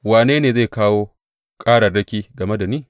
Wane ne zai kawo ƙararraki game da ni?